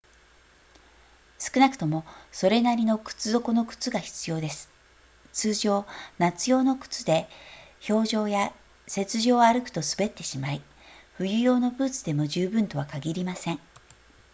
少なくともそれなりの靴底の靴が必要です通常夏用の靴で氷上や雪上を歩くと滑ってしまい冬用のブーツでも十分とは限りません